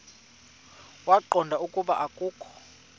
waqonda ukuba akokho